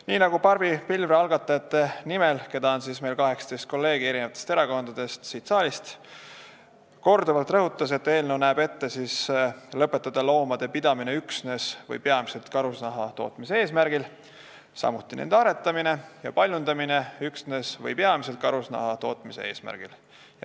Nii nagu Barbi Pilvre algatajate nimel korduvalt rõhutas, näeb eelnõu ette lõpetada loomade pidamine üksnes või peamiselt karusnahatootmise eesmärgil, samuti nende aretamine ja paljundamine üksnes või peamiselt karusnahatootmise eesmärgil.